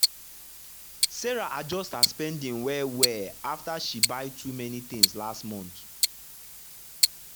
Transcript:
sarah adjust her spending well well after she buy too many things last month.